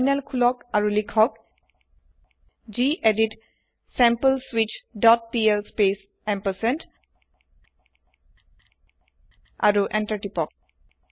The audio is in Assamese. তাৰিনেল খুলক আৰু লিখক গেদিত ছেম্পলস্বিচ ডট পিএল স্পেচ এম্পাৰচেণ্ড আৰু এন্টাৰ তিপক